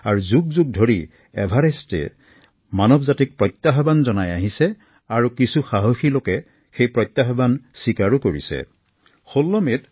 শতিকাৰ পাছত শতিকা ধৰি এভাৰেষ্টে মানৱজাতিক প্ৰত্যাহ্বান জনাই আহিছে আৰু একাংশ সাহসী লোকে এই প্ৰত্যাহ্বানক সুন্দৰভাৱে গ্ৰহণো কৰিছে